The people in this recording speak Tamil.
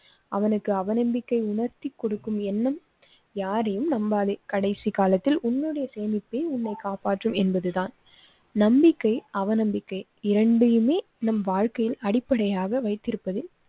அவனுக்கு அவநம்பிக்கை உணர்த்தி கொடுக்கும் எண்ணம் யாரையும் நம்பாதே. கடைசி காலத்தில் உன்னுடைய சேமிப்பை உன்னை காப்பாற்றும் என்பது தான். நம்பிக்கை, அவநம்பிக்கை இரண்டை யுமே நம் வாழ்க்கையில் அடிப்படையாக வைத்து இருப்பதில்